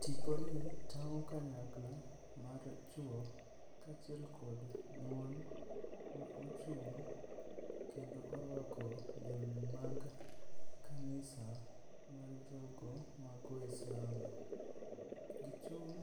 Tiponi tang'o kanyakla mar chwo kaachiel kod mon ma ochung' kendo orwako lewni mag kanisa mar jogo mago Islam. Gichung'